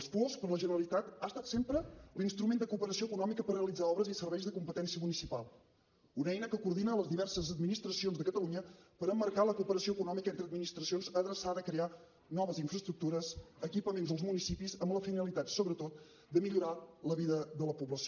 el puosc per a la generalitat ha estat sempre l’instrument de cooperació econòmica per realitzar obres i serveis de competència municipal una eina que coordina les diverses administracions de catalunya per emmarcar la cooperació econòmica entre administracions adreçada a crear noves infraestructures equipaments als municipis amb la finalitat sobretot de millorar la vida de la població